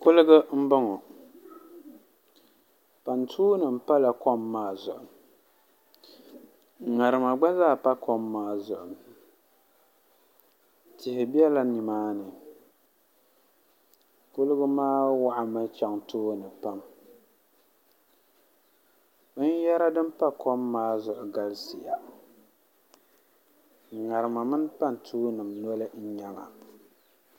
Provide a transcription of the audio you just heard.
Kuliga n boŋo pantuu nim pala kom maa zuɣu ŋarima gba zaa pa kom maa zuɣu tihi bɛla nimaani kuliga maa waɣami chɛŋ tooni pam binyɛra din pa kom maa zuɣu galisiya ŋarima mini pantuu nim noli n nyɛba